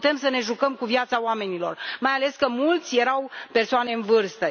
Nu putem să ne jucăm cu viața oamenilor, mai ales că mulți erau persoane în vârstă.